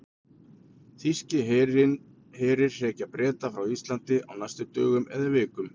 Þýskir herir hrekja Breta frá Íslandi á næstu dögum eða vikum.